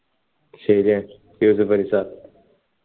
ശരിയാ യൂസഫലി sir